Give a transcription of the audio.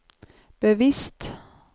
bevisst